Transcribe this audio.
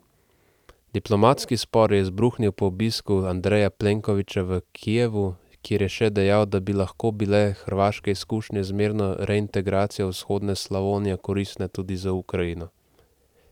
Diplomatski spor je izbruhnil po obisku Andreja Plenkovića v Kijevu, kjer je še dejal, da bi lahko bile hrvaške izkušnje z mirno reintegracijo vzhodne Slavonije koristne tudi za Ukrajino.